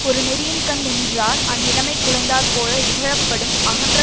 ஒரு நெறியின்கண் நின்றார் அந்நிலைமை குலைந்தாற் போல இகழப்படும் அகன்ற